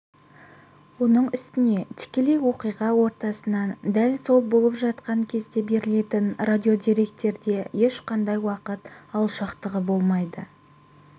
оның үстіне тікелей оқиға ортасынан дәл сол болып жатқан кезде берілетін радиодеректе ешқандай уақыт алшақтығы болмайды